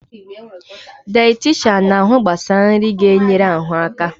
Dayetishan na-ahụ gbasara nri ga-ga-enyere ahụ aka